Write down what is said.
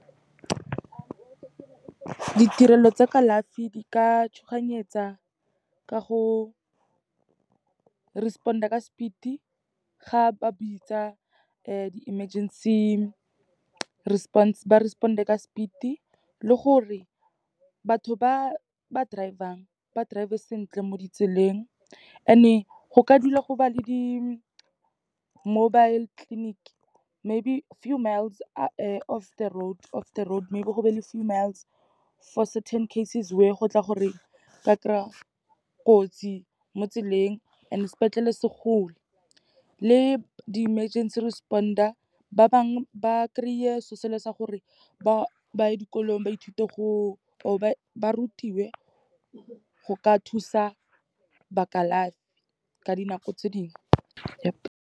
Ditirelo tsa kalafi, di ka tshoganyetsa ka go respond-a ka speed-e, ga ba bitsa di-emergency response, ba respond-e ka speed-e. Le gore, batho ba ba driver-ng, ba drive-e sentle mo ditseleng, and-e go ka dula go ba le di-mobile clinic maybe few miles of the road, maybe go be le few miles for certain cases, where go tla gore o ka kry-a kotsi mo tseleng and sepetlele se kgole. Le di emergency responder, ba bangwe ba kry-a se'o se le sa gore, ba ye dikolong ba ithute gore, or ba rutiwe go ka thusa ba kalafi ka dinako tse dingwe.